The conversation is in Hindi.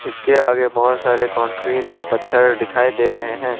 इसके आगे बहोत सारे कंक्रीट और पत्थर दिखाई दे रहे हैं।